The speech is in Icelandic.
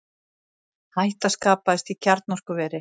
Hætta skapaðist í kjarnorkuveri